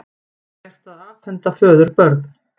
Gert að afhenda föður börn